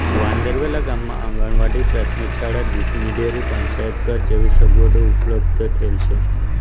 વાંદરવેલા ગામમાં આંગણવાડી પ્રાથમિક શાળા દૂધની ડેરી પંચાયતઘર જેવી સગવડો ઉપલબ્ધ થયેલ છે